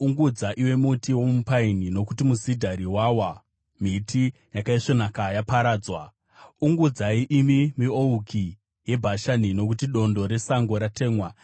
Ungudza, iwe muti womupaini, nokuti musidhari wawa, miti yakaisvonaka yaparadzwa! Ungudzai, imi miouki yeBhashani, nokuti dondo resango ratemwa!